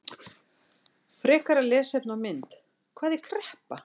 Frekara lesefni og mynd: Hvað er kreppa?